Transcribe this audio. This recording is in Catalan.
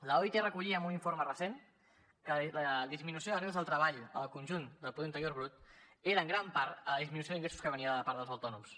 l’oit recollia en un informe recent que la disminució de rendes del treball en el conjunt del producte interior brut era en gran part la disminució d’ingressos que venia de part dels autònoms